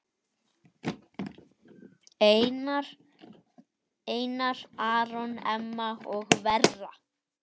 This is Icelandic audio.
Einar Aron, Emma og Vera.